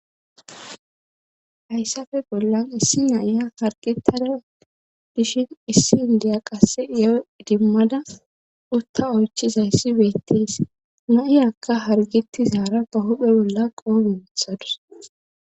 hayssafe bollan issi na'iya hargetada dishin issi indiya qasse iyoo idimmada utta oychizayssi beettees na7iyakka hargetizaara ba huphe bolla qoobe wothadus